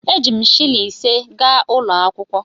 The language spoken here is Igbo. Eji m shịlịn ise gaa ụlọ akwụkwọ.